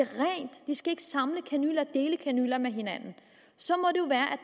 dele kanyler med hinanden så må